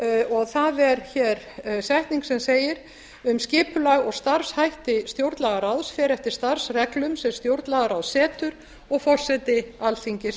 rætt það er hér setning sem segir um skipulag og starfshætti stjórnlagaráðs fer eftir starfsreglum sem stjórnlagaráð setur og forseti alþingis